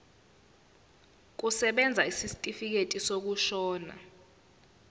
kusebenza isitifikedi sokushona